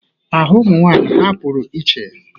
Aha ụmụnwaanyị ha pụrụ iche.